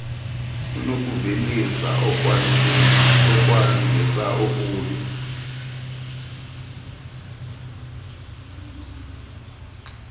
unokuvelisa okwandisa okubi